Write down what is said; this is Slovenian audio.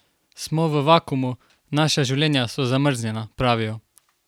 Smo v vakuumu, naša življenja so zamrznjena, pravijo.